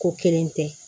Ko kelen tɛ